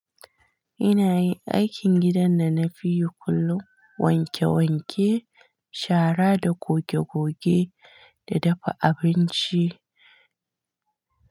Ina yin aikin gidan da na fi yi kullum, wanke wanke, shara da goge goge da dafa abinci.